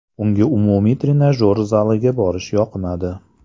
Unga umumiy trenajyor zaliga borish yoqmadi.